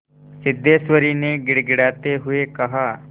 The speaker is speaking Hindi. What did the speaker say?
सिद्धेश्वरी ने गिड़गिड़ाते हुए कहा